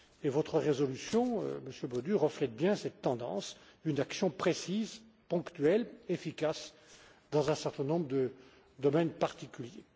Votre résolution Monsieur Bodu reflète bien cette tendance une action précise, ponctuelle, efficace dans un certain nombre de domaines particuliers.